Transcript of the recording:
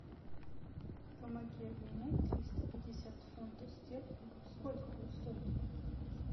помоги обменять триста пятьдесят фунтов стерлингов сколько будет стоить